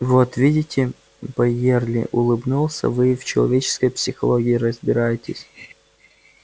вот видите байерли улыбнулся вы и в человеческой психологии разбираетесь